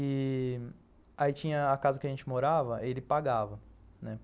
E... Aí tinha a casa que a gente morava, ele pagava, né?